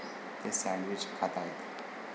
ते सँडविच खाताहेत.